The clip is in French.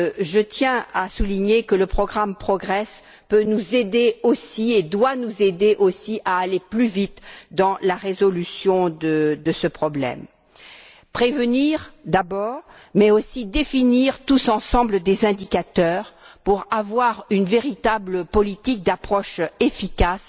je tiens à souligner que le programme Progress peut et doit nous aider aussi à aller plus vite dans la résolution de ce problème prévenir, d'abord, mais aussi définir tous ensemble des indicateurs pour nous doter d'une véritable politique ou approche, efficace